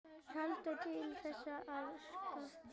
Heldur til þess að skapa.